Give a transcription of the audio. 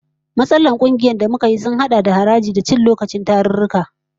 Matsalar kungiyar da muka yi sun hada da biyan haraji, da cin lokacin tarurruka